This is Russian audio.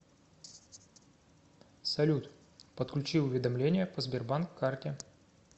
салют подключи уведомления по сбербанк карте